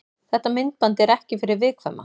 Þetta myndband er ekki fyrir viðkvæma.